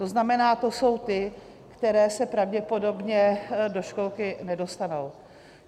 To znamená, to jsou ty, které se pravděpodobně do školky nedostanou.